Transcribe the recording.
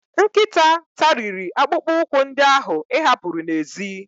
Nkịta tariri akpụkpọ ụkwụ ndị ahụ ị hapuru n'èzí.